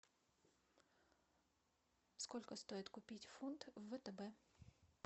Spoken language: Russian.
сколько стоит купить фунт в втб